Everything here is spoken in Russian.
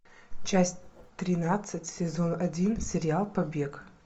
часть тринадцать сезон один сериал побег